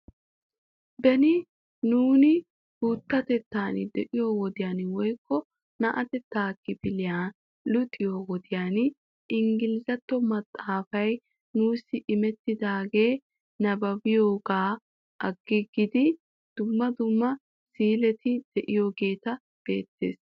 Beni nuuni guuttatettan diyoo wodiyan woykko naa'antta kefilliya luxxiyoo wodiyan ingilzzattuwaa maxaafay nuussi imettidaagaa nabbabiyoogaa agiigidi dumma dumma si"ileti de'iyaageeta be'eettes.